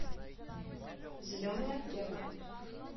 зеленая аптека